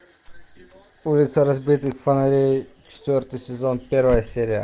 улица разбитых фонарей четвертый сезон первая серия